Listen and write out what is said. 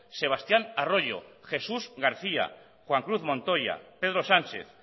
sebastián arroyo jesús garcía juan cruz montoya pedro sánchez